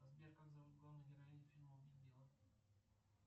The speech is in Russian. сбер как зовут главную героиню фильма убить билла